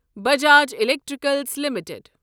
Bajaj electricals limited